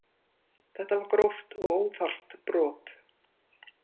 Þetta var gróft og óþarft brot